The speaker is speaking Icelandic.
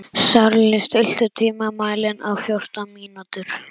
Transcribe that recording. Sörli, stilltu tímamælinn á fjórtán mínútur.